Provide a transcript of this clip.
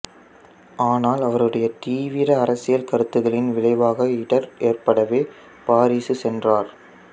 ஆனால் அவருடைய தீவிர அரசியல் கருத்துகளின் விளைவாக இடர் ஏற்படவே பாரிசு சென்றார்